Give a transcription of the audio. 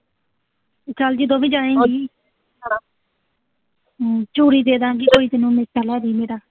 ਚਲ ਜਦੋਂ ਵੀ ਜਾਏਂ ਗੀ ਹਮ ਚੂੜੀ ਦੇ ਦਾਂ ਗੀ ਕੋਈ ਤੈਨੂੰ, ਗੋਟੀ ਲਿਆ ਦੀਂ ਮੇਰਾ